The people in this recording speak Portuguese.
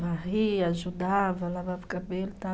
Varria, ajudava, lavava o cabelo e tal.